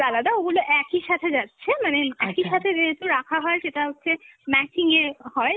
আলাদা, ওগুলো একই সাথে যাচ্ছে, মানে একইসাথে যেহেতু রাখা হয় সেটা হচ্ছে matching এ হয়